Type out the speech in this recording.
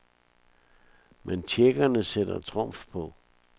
Men tjekkerne sætter trumf på.